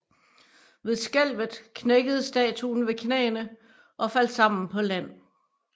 Ved skælvet knækkede statuen ved knæene og faldt sammen på land